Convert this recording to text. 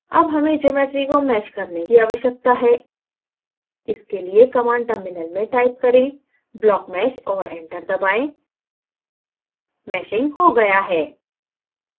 अब हमें geometry को mesh करने की आवश्यकता है इसके लिए command terminal में type करें blockmesh और enter दबाएँ meshing हो गया है